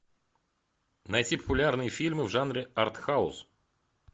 найти популярные фильмы в жанре артхаус